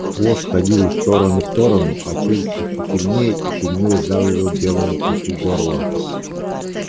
хвост ходил из стороны в сторону а челюсти всё сильнее и сильнее сдавливали белому клыку горло